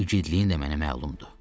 İgidliyin də mənə məlumdur.